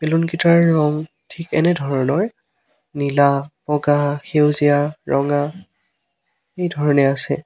বেলুনকেইটাৰ ৰং ঠিক এনে ধৰণৰ নীলা বগা সেউজীয়া ৰঙা এইধৰণে আছে।